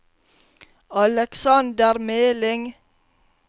Aleksander Meling